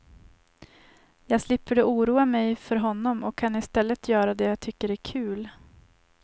Jag slipper då oroa mig för honom och kan istället göra det jag tycker är kul.